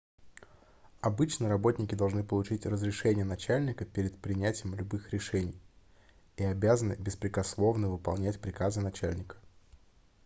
обычно работники должны получить разрешение начальника перед принятием любых решений и обязаны беспрекословно выполнять приказы начальника